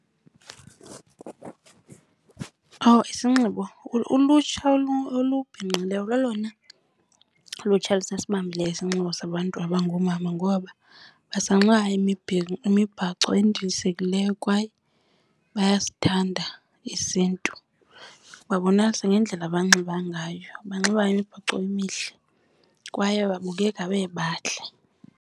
Isinxibo, ulutsha olu bhinqileyo lolona lutsha lusasibambileyo isinxibo sabantu abangoomama ngoba basanxiba imibhaco endilisekileyo kwaye bayasithanda isiNtu. Babonakalisa ngendlela abanxiba ngayo, banxiba imibhaco emihle kwaye babukeka bebahle.